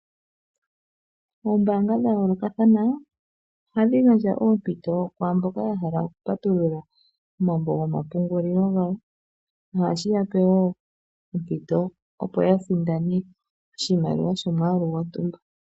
Oombanga dha yolokathana ohadhi gandja oompito kwamboka ya hala oku patulula omambo gomapungulilo gawo. Ohashi yape wo ompito opo ya sindane oshimaliwa shomwalu gwo ntumba.